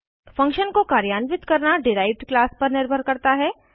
function को कार्यान्वित करना डिराइव्ड क्लास पर निर्भर करता है